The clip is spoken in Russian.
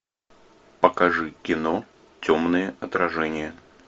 покажи кино темное отражение